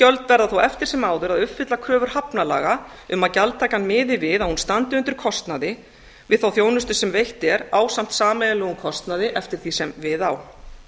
gjöld verða þó eftir sem áður að uppfylla kröfur hafnalaga um að gjaldtakan miði að að hún standi undir kostnaði við þá þjónustu sem veitt er ásamt sameiginlegum kostnaði eftir því sem við á